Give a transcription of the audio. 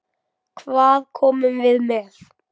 Hvað komum við með?